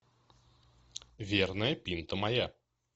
верная пинта моя